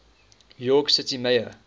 york city mayor